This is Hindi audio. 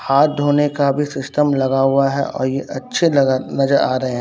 हाथ धोने का भी सिस्टम लगा हुआ है और ये अच्छे नजर आ रहे हैं।